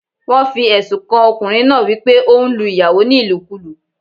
Wọ́n fi èsùn kan ọkùnrin náá wípé óún lu ìyàwó ní ìlùkulú